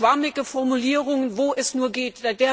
Schwammige Formulierungen, wo es nur geht.